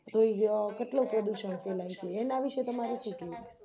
કોઈ ય કેટલો પ્રદુષણ ફેલાય છે એના વિષે તમારે શું કેવું